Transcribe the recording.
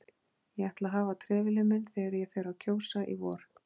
Ég ætla að hafa trefilinn minn þegar ég fer að kjósa í vor